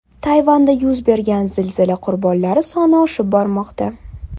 Tayvanda yuz bergan zilzila qurbonlari soni oshib bormoqda.